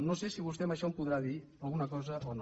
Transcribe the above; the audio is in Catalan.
no sé si vostè en això em podrà dir alguna cosa o no